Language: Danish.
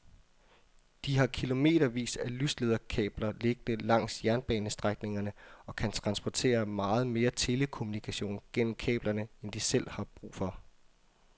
De har kilometervis af lyslederkabler liggende langs jernbanestrækningerne og kan transportere meget mere telekommunikation gennem kablerne end de selv har brug for.